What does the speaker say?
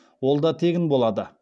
ол да тегін болады